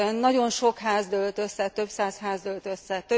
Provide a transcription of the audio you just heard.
Nagyon sok ház dőlt össze, több száz ház dőlt össze.